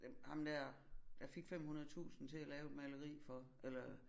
Ja ham der der fik 500000 til at lave et maleri for eller